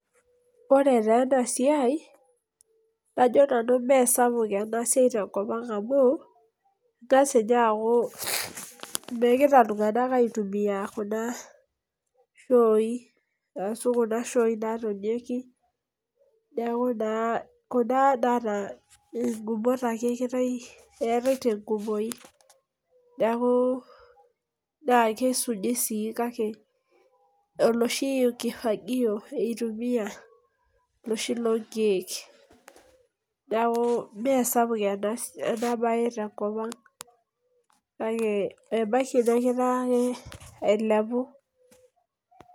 Ore taa ena siai. kajo nanu ime sapuk e a siai tenkop ang amu, keng'as ninyee aaku megirae iltunganak aitumia Kuna shooi, aashu Kuna shoi natonieki. kuna naata igumot ake eetae te nkumoi. neeku, naa kisumi sii kake oloshi kifagio eitumiae. oloshi loo nkeek. neeku ime sapuk ena bae te nkop ang. kake ebaiki negira ake ailepu.